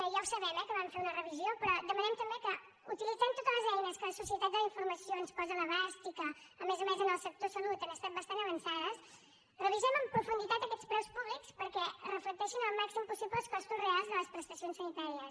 ja ho sabem eh que van fer ne una revisió però demanem també que utilitzant totes les eines que la societat de la informació ens posa a l’abast i que a més a més en el sector salut han estat bastant avançades revisem amb profunditat aquests preus públics perquè reflecteixin al màxim possible els costos reals de les prestacions sanitàries